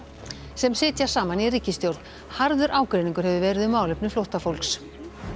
sem sitja saman í ríkisstjórn harður ágreiningur hefur verið um málefni flóttafólks